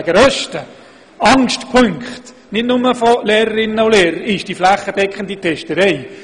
Eine der grössten Sorgen in diesem Zusammenhang, nicht nur von Lehrpersonen, ist die Angst vor häufigen flächendeckenden Tests.